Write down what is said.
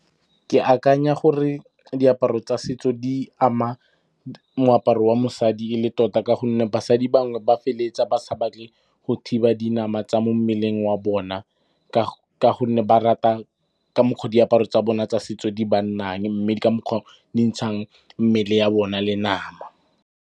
Ke akanya gore diaparo tsa setso di ama moaparo wa mosadi e le tota ka gonne basadi bangwe ba feleletsa ba sa batle go thiba dinama tsa mo mmeleng wa bona ka gonne ba rata ka mokgwa diaparo tsa bona tsa setso di ba nnang mme di ka mokgwa di ntshang mmele ya bona le nama.